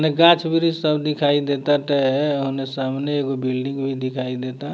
उने गाँछ वृक्ष सब दिखाई दे ताटे ओने सामने एगो बिल्डिंग भी दिखाई देता।